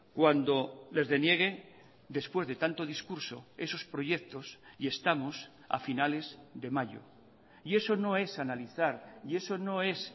cuando les deniegue después de tanto discurso esos proyectos y estamos a finales de mayo y eso no es analizar y eso no es